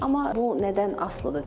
Amma bu nədən asılıdır?